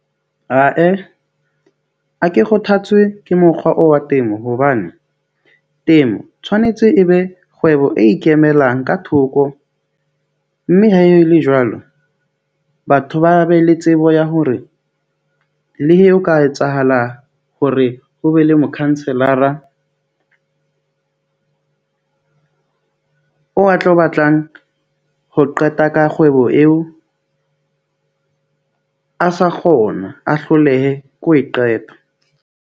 Ae, a ke kgothatswe ke mokgwa oo wa temo hobane temo tshwanetse e be kgwebo e ikemelang ka thoko mme ha e le jwalo. Batho ba be le tsebo ya hore le eo ka etsahala hore ho be le mokhanselara o o a tlo batlang ho qeta ka kgwebo eo. A sa kgona a hlolehe ho e qeta.